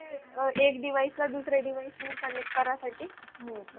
एक device ला दुसरे device नी connect करा साठी .